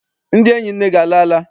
Ndị enyi nne gị alala?